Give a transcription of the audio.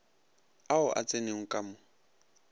ao a tsenego ka mo